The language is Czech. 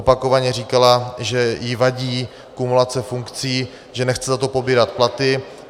Opakovaně říkala, že jí vadí kumulace funkcí, že nechce za to pobírat platy.